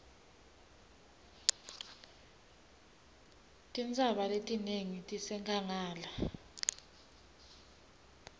tintsaba letinengi tisenkhangala